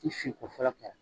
Ni fin ko fɔlɔ